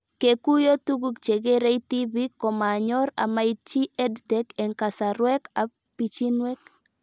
Kekuyo tuguk chekerei tipik komanyor amaitchi EdTech eng' kasarwek ab pichinwek